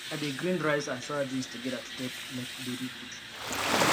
i de grind rice and soyabeans together to take make baby food